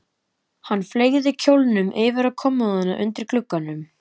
Hann fleygði kjólnum yfir á kommóðuna undir glugganum.